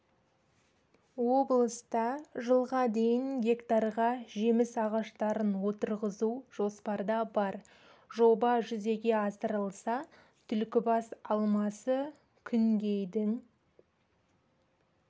облыста жылға дейін гектарға жеміс ағаштарын отырғызу жоспарда бар жоба жүзеге асырылса түлкібас алмасы күнгейдің